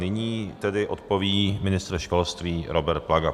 Nyní tedy odpoví ministr školství Robert Plaga.